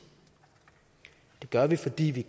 det gør vi fordi vi